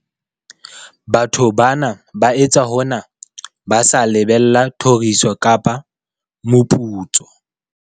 Batho bana ba etsa hona ba sa lebella thoriso kapa moputso.